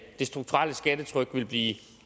det strukturelle skattetryk ville blive